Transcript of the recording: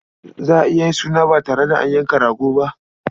Za a iya yin suna ba tare da an yanka rago ba?